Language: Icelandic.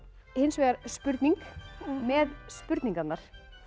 hins vegar spurning með spurningarnar